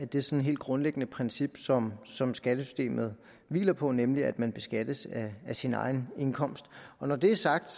det sådan helt grundlæggende princip som som skattesystemet hviler på nemlig at man beskattes af sin egen indkomst når det er sagt